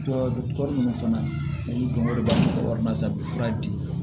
minnu fana olu dɔnko de b'a to warimara sar'u fura di